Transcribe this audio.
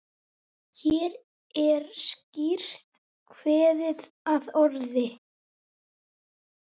Hér er skýrt kveðið að orði